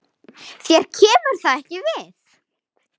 Þér kemur það ekki við.